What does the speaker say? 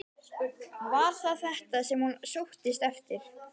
Var það þetta sem hún sóttist eftir?